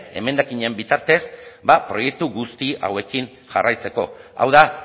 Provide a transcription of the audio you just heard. emendakinen bitartez ba proiektu guzti hauekin jarraitzeko hau da